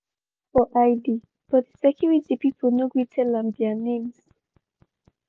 she ask for id but di security pipu no gree tell am their names.